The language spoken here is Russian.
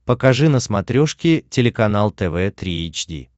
покажи на смотрешке телеканал тв три эйч ди